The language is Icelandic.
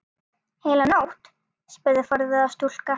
Heila nótt? spurði forviða stúlka.